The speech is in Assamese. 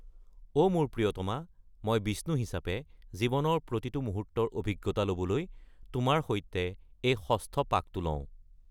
অ’! মোৰ প্ৰিয়তমা, মই, বিষ্ণু হিচাপে, জীৱনৰ প্ৰতিটো মুহূৰ্তৰ অভিজ্ঞতা ল'বলৈ তোমাৰ সৈতে এই ষষ্ঠ পাকটো লওঁ।